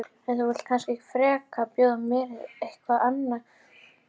En þú vilt kannski frekar bjóða mér eitthvað annað?